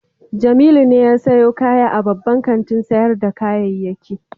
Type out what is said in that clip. Jamilu ne ya sayo kaya a babban kantin sayar da kayayyaki